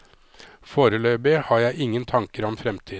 Foreløpig har jeg ingen tanker om fremtiden.